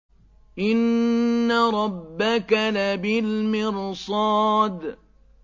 إِنَّ رَبَّكَ لَبِالْمِرْصَادِ